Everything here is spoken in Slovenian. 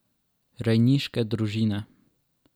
Rejniške družine.